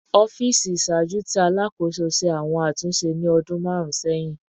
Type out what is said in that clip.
Ọfiisi iṣaaju ti Alakoso ṣe awọn atunṣe ni ọdun marun sẹhin